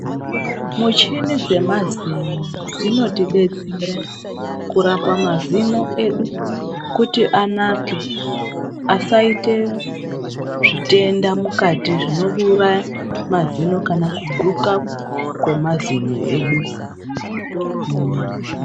Muchini dze mazino dzino tidetsera kurapa mazino edu kuti anake asaite zvitenda mukati zvino uraya mazino kana kuguka kwe mazino edu.